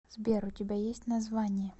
сбер у тебя есть название